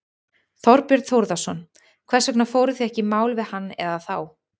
Þorbjörn Þórðarson: Hvers vegna fóruð þið ekki í mál við hann eða þá?